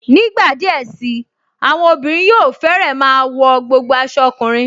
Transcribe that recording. Nígbà díẹ̀ sí i, àwọn obìnrin yóò fẹ́rẹ́ máa wọ gbogbo aṣọ ọkùnrin